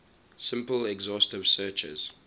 simple exhaustive searches